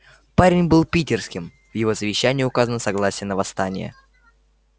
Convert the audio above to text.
парень был питерским в его завещании указано согласие на восстание